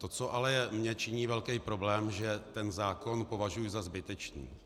To, co ale mně činí velký problém - že ten zákon považuji za zbytečný.